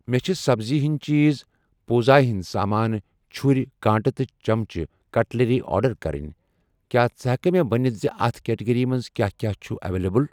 مےٚ چھ سبزی ہِنٛدۍ چیٖز, پوٗزا ہِنٛدۍ سامان, چُھرۍ، کانٛٹہٕ تہٕ چمچہٕ, کٹلٔری آرڈر کرٕنۍ، کیٛاہ ژٕ ہٮ۪کہٕ خاہ مےٚ ونِتھ زِ اَتھ کیٹگری منٛز کیٛاہ کیٛاہ چھ اویلیبل۔